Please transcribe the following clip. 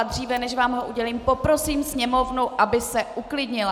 A dříve než vám ho udělím, poprosím Sněmovnu, aby se uklidnila.